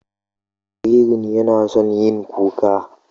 Jaririn yana son yin kuka.